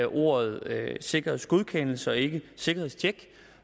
ordet sikkerhedsgodkendelse og ikke sikkerhedstjek